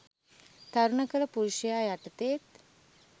තරුණ කළ පුරුෂයා යටතේත්